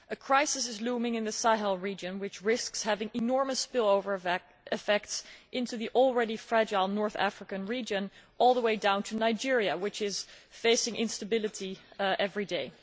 A crisis is looming in the Sahel region which risks having enormous spillover effects into the already fragile North African region all the way down to Nigeria, which is facing instability every day.